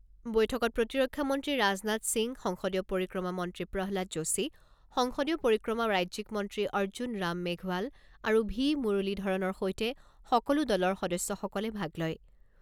বৈঠকত প্ৰতিৰক্ষা মন্ত্ৰী ৰাজনাথ সিং, সংসদীয় পৰিক্ৰমা মন্ত্ৰী প্ৰহ্লাদ যোশী, সংসদীয় পৰিক্ৰমা ৰাজ্যিক মন্ত্ৰী অৰ্জুন ৰাম মেঘৱাল আৰু ভি মুৰলীধৰণৰ সৈতে সকলো দলৰ সদস্যসকলে ভাগ লয়।